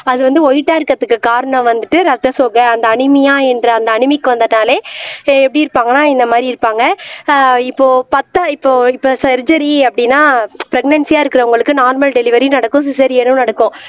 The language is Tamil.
அது வந்து வைட்டா இருக்குறதுக்கு காரணம் வந்துட்டு ரத்த சோகை அந்த அனீமியா என்ற அந்த அனீமிக் வந்ததாலே ஆஹ் எப்படி இருப்பாங்கன்னா இந்த மாதிரி இருப்பாங்க ஆஹ் இப்போ இப்போ சர்ஜரி அப்படின்னா ப்ரக்நன்சியா இருக்கிறவங்களுக்கு நார்மல் டெலிவரி நடக்கும் சீசரினும் நடக்கும்